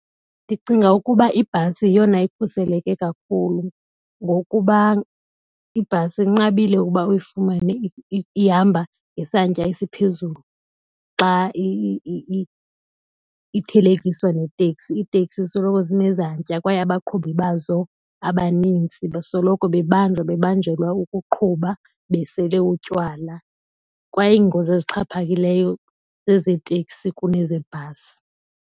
Ndicinga ukuba ibhasi yeyona ikhuseleke kakhulu ngokuba ibhasi inqabile ukuba uyifumane ihamba ngesantya esiphezulu xa ithelekiswa neteksi. Iiteksi zisoloko zine zantya kwaye abaqhubi bazo abanintsi basoloko bebanjwa, bebanjelwa ukuqhuba besele utywala. Kwaye iingozi ezixhaphakileyo zeezeteksi kunezebhasi.